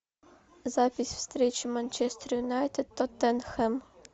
запись встречи манчестер юнайтед тоттенхэм